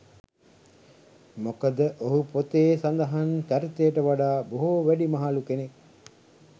මොකද ඔහු පොතේ සඳහන් චරිතයට වඩා බොහෝ වැඩිමහලු කෙනෙක්.